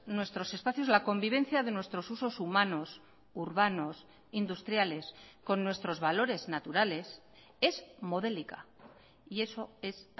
nuestros espacios la convivencia de nuestros usos humanos urbanos industriales con nuestros valores naturales es modélica y eso es